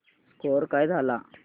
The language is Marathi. स्कोअर काय झाला